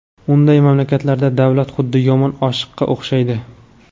Unday mamlakatlarda davlat xuddi yomon oshiqqa o‘xshaydi.